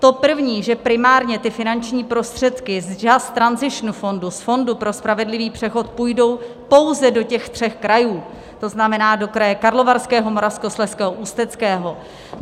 To první, že primárně ty finanční prostředky z Just Transition Fundu, z fondu pro spravedlivý přechod, půjdou pouze do těch tří krajů, to znamená do kraje Karlovarského, Moravskoslezského, Ústeckého.